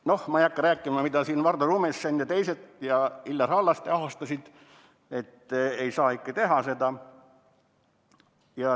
Noh, ma ei hakka rääkima, kuidas Vardo Rumessen, Illar Hallaste ja teised ahastasid, et ei saa ikka seda teha.